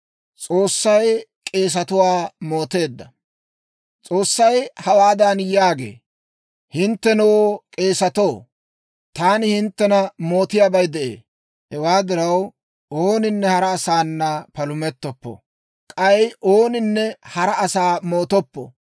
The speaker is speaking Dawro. S'oossay hawaadan yaagee; «Hinttenoo, k'eesatoo, taani hinttena mootiyaabay de'ee. Hewaa diraw, ooninne hara asaana palumettoppo; k'ay ooninne hara asaa mootoppo.